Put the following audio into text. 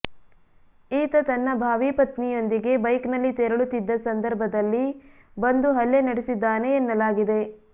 ಈತ ತನ್ನ ಭಾವಿ ಪತ್ನಿಯೊಂದಿಗೆ ಬೈಕ್ನಲ್ಲಿ ತೆರಳುತ್ತಿದ್ದ ಸಂದರ್ಭದಲ್ಲಿ ಬಂದು ಹಲ್ಲೆ ನಡೆಸಿದ್ದಾನೆ ಎನ್ನಲಾಗಿದೆ